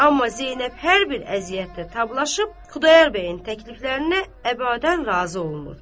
Amma Zeynəb hər bir əziyyətə tablaşıb Xudayar bəyin təkliflərinə əbədən razı olmurdu.